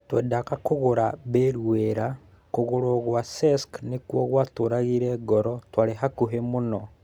Twendaga kũgũra Bale wĩra. Kũgũrũo gwa Cesc nĩkuo gũatũragire ngoro. Twarĩ hakũhĩ mũno.